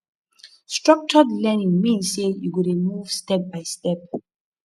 structured learning mean sey you go dey move step by step